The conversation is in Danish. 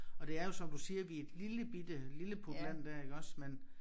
Og det er jo som du siger vi et lillebitte lilleputland der iggås men